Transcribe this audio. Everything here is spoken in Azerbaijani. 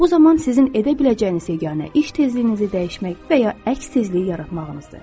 Bu zaman sizin edə biləcəyiniz yeganə iş tezliyinizi dəyişmək və ya əks tezliyi yaratmağınızdır.